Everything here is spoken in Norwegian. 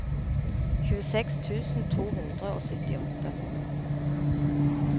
tjueseks tusen to hundre og syttiåtte